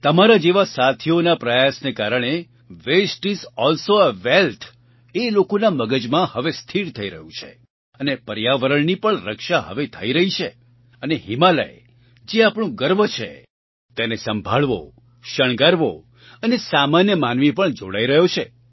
તમારા જેવા સાથીઓના પ્રયાસના કારણે waste is also a wealth એ લોકોના મગજમાં હવે સ્થિર થઈ રહ્યું છે અને પર્યાવરણની પણ રક્ષા હવે થઈ રહી છે અને હિમાલય જે આપણું ગર્વ છે તેને સંભાળવો શણગારવો અને સામાન્ય માનવી પણ જોડાઈ રહ્યો છે